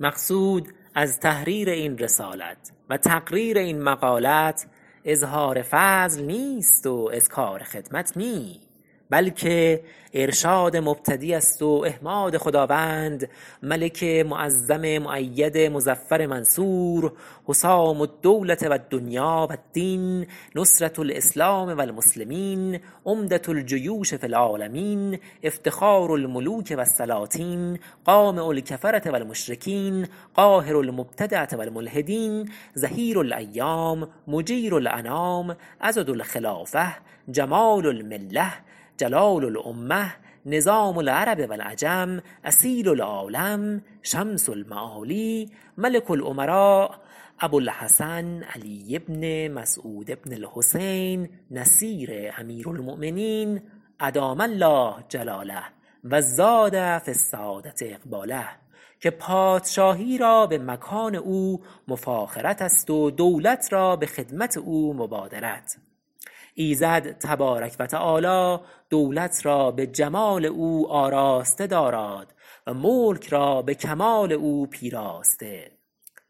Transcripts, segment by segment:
مقصود از تحریر این رسالت و تقریر این مقالت اظهار فضل نیست و اذکار خدمت نی بلکه ارشاد مبتدی است و احماد خداوند ملک معظم مؤید مظفر منصور حسام الدولة و الدنیا و الدین نصرة الاسلام و المسلمین عمدة الجیوش فی العالمین افتخار الملوک و السلاطین قامع الکفرة و المشرکین قاهر المبتدعة و الملحدین ظهیر الأیام مجیر الأنام عضد الخلافة جمال الملة جلال الامة نظام العرب و العجم اصیل العالم شمس المعالی ملک الامراء ابوالحسن علی بن مسعود بن الحسین نصیر امیرالمؤمنین أدام الله جلاله و زاد فی السعادة اقباله که پادشاهی را به مکان او مفاخرت است و دولت را به خدمت او مبادرت ایزد تبارک و تعالی دولت را به جمال او آراسته داراد و ملک را به کمال او پیراسته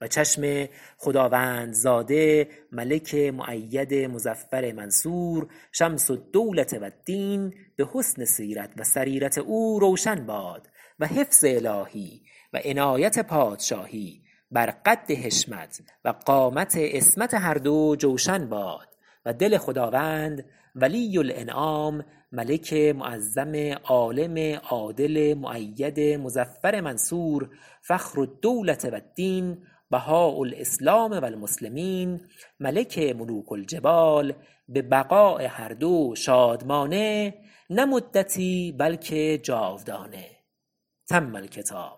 و چشم خداوندزاده ملک مؤید مظفر منصور شمس الدولة و الدین به حسن سیرت و سریرت او روشن باد و حفظ الهی و عنایت پادشاهی بر قد حشمت و قامت عصمت هر دو جوشن باد و دل خداوند ولی الإنعام ملک معظم عالم عادل مؤید مظفر منصور فخر الدولة و الدین بهاء الاسلام و المسلمین ملک ملوک الجبال به بقاء هر دو شادمانه نه مدتی بلکه جاودانه تم الکتاب